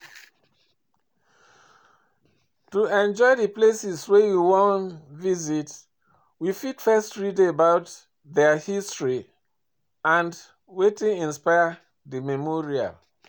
To enjoy di places wey we wan visit we fit first read about their history and wetin inspire di memorial